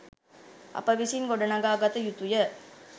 අප විසින් ගොඩනඟා ගත යුතුය